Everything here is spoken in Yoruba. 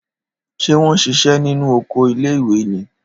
Ṣé wọn ṣiṣẹ́ nínú oko iléìwè ni?